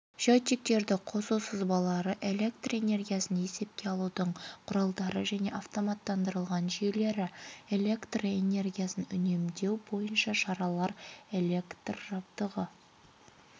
счетчиктерді қосу сызбалары электроэнергиясын есепке алудың құралдары және автоматтандырылған жүйелері электроэнергиясын үнемдеу бойынша шаралар электр жабдығы